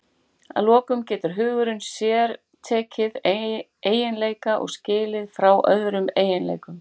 Að lokum getur hugurinn sértekið eiginleika og skilið frá öðrum eiginleikum.